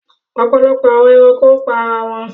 Ọpọlọpọ awọn ẹranko pa ara wọn